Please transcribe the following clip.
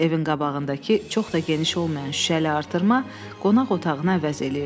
Evin qabağındakı çox da geniş olmayan şüşəli artırma qonaq otağını əvəz eləyirdi.